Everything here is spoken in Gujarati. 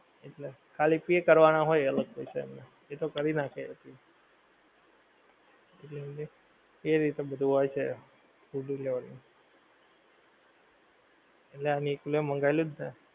એટલે ખાલી pay કરવાના હોય અલગ પૈસા એ તો કરી નાખીયે એટલે એમને એ રીતે બધુ હોય છે food delivery એટલે આમ એકલું મંગાવેલું જ ને